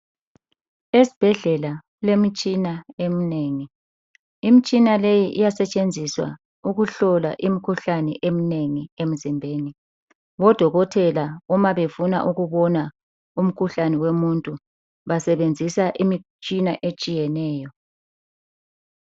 Esibhedlela kulemitshina eminengi. Imitshina leyi iyasetshenziswa ukuhlola imikhuhlane eminengi emzimbeni. Odokotela uma befuna ukubona umkhuhlane womuntu basebenzisa imitshina etshiyeneyo.